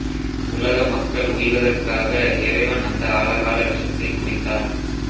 உலக மக்கள் உய்வதற்காக இறைவன் அந்த ஆலகால விஷத்தைக் குடித்தார்